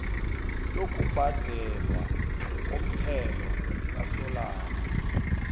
lokubhadelwa komthelo kasolanga